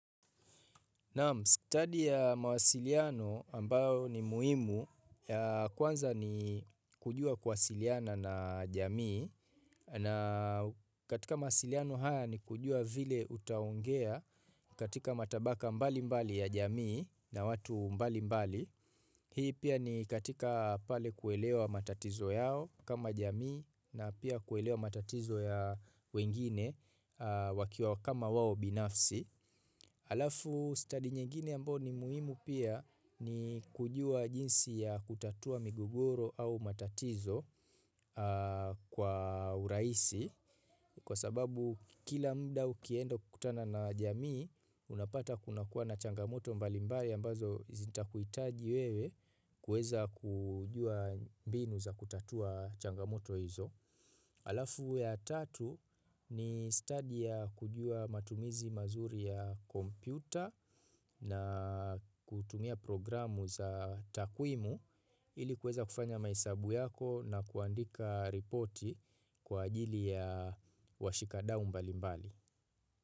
Stadi ya mawasiliano ambayo ni muhimu ya kwanza ni kujua kuwasiliana na jamii na katika mawasiliano haya ni kujua vile utaongea katika matabaka mbalimbali ya jamii na watu mbalimbali. Hii pia ni katika pale kuelewa matatizo yao kama jamii na pia kuelewa matatizo ya wengine wakiwa kama wao binafsi. Alafu stadi nyingine ambayo ni muhimu pia ni kujua jinsi ya kutatua migogoro au matatizo. Kwa urahisi kwa sababu kila mara ukienda kukutana na jamii, unapata kuna kuwa na changamoto mbalimbali ambazo zitahitaji wewe kuweza kujua mbinu za kutatua changamoto hizo. Alafu ya tatu ni stadi ya kujua matumizi mazuri ya kompyuta na kutumia programu za takwimu ili kuweza kufanya mahesabu yako na kuandika ripoti kwa ajili ya washikadau mbalimbali.